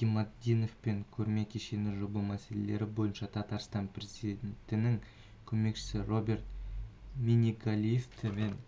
гиматдиновпен көрме кешені жоба мәселелері бойынша татарстан президентінің көмекшісі роберт миннегалиевпен